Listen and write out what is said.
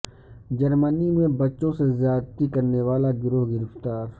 جرمنی میں بچوں سے زیادتی کرنے والا گروہ گرفتار